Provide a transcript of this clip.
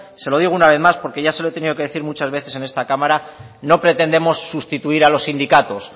se lo digo una vez más porque ya se lo he tenido que decir muchas veces en esta cámara no pretendemos sustituir a los sindicatos